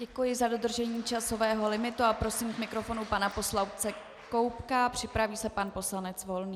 Děkuji za dodržení časového limitu a prosím k mikrofonu pana poslance Koubka, připraví se pan poslanec Volný.